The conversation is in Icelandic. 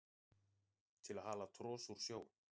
til að hala tros úr sjó